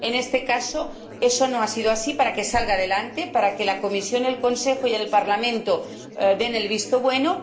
En este caso, eso no ha sido así para que salga adelante, para que la Comisión, el Consejo y el Parlamento den el visto bueno.